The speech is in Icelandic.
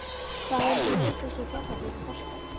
Hvað mun hinn íslenski fjallabíll kosta?